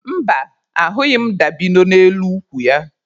Mba, ahụghị m dabino n'elu ukwu ya.